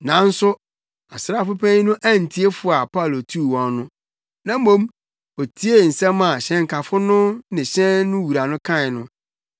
Nanso asraafo panyin no antie fo a Paulo tuu wɔn no, na mmom otiee nsɛm a hyɛnkafo no ne hyɛn no wura kae no.